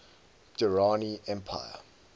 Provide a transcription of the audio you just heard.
durrani empire